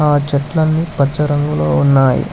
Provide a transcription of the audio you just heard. ఆ చెట్లన్ని పచ్చ రంగులో ఉన్నాయ్.